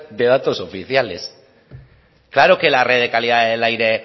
de datos oficiales claro que la red de calidad del aire